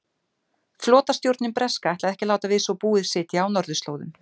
Flotastjórnin breska ætlaði ekki að láta við svo búið sitja á norðurslóðum.